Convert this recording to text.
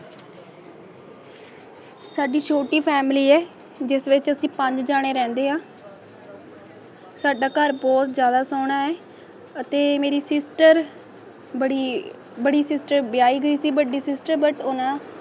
ਸਾਡੀ ਛੋਟੀ family ਜਿਸ ਵਿੱਚ ਅਸੀ ਪੰਜ ਜਣੇ ਰਹਿੰਦੇ ਆ ਘੰਟਾ ਘਰ ਅਬੋਹਰ ਜ਼ਿਆਦਾ ਸੋਹਣਾ ਅਤੇ ਮੇਰੀ sister ਬੜੀ ਯੇ sister ਵਿਆਹੀ ਗਈ ਸੀ ਵੱਡੀ sister ਹੈ